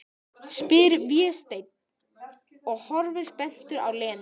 spyr Vésteinn og horfir spenntur á Lenu.